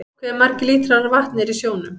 Hve margir lítrar af vatni eru í sjónum?